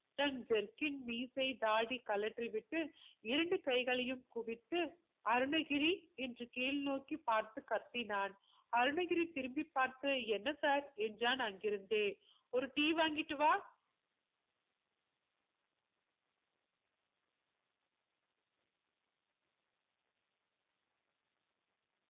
தன் jerkin மீசை தாடி கழற்றி விட்டு இரண்டு கைகளையும் குவித்து அருணகிரி என்று கீழ் நோக்கி பார்த்து கத்தினான் அருணகிரி திரும்பி பார்த்து என்ன sir என்றான் அங்கிருந்தே ஒரு tea வாங்கிட்டு வா